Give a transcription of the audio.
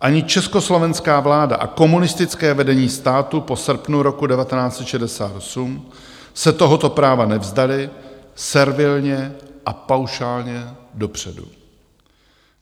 Ani československá vláda a komunistické vedení státu po srpnu roku 1968 se tohoto práva nevzdaly servilně a paušálně dopředu.